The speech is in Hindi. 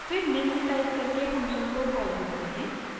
फिर निम्न टाइप करके फंक्शन को कॉल करते हैं